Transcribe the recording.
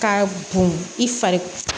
Ka bon i fari